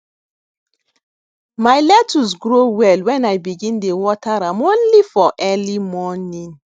my lettuce grow well when i begin dey water am only for early morning